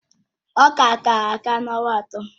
Ọka ka-aka n'ọnwa atọ